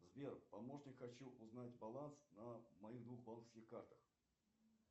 сбер помощник хочу узнать баланс на моих двух банковских картах